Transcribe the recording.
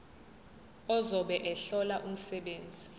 ozobe ehlola umsebenzi